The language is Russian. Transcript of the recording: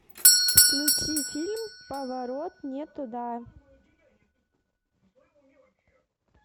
включи фильм поворот не туда